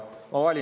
Väga vabandan.